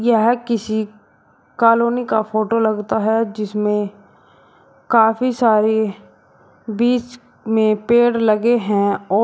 यह किसी कॉलोनी का फोटो लगता है जिसमें काफी सारी बीच में पेड़ लगे हैं और--